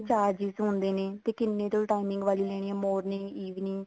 charges ਹੁੰਦੇ ਨੇ ਤੇ ਕਿੰਨੇ time ਵਾਲੀਆਂ ਲੈਣੀਆਂ morning evening